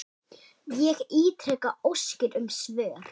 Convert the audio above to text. Ég ítreka óskir um svör.